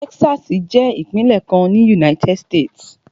Texas jẹ́ ìpínlẹ̀ kan ní United States.